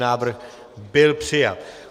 Návrh byl přijat.